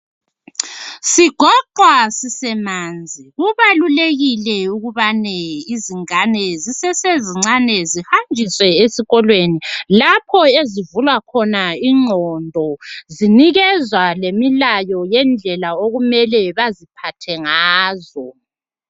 sigoqwa sisemanzi kubalulekile ukubane izingane zisesezincane zihanjiswe esikolweni lapho ezivulwa khona inqondo zinikezwa lemilayo okumele baziphathe ngazo